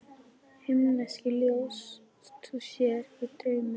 Himneskt ljós þú sér í draumi.